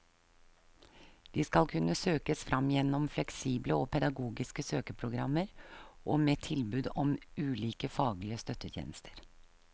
De skal kunne søkes fram gjennom fleksible og pedagogiske søkeprogrammer og med tilbud om ulike faglige støttetjenester.